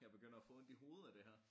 Jeg begynder at få ondt i hovedet af det her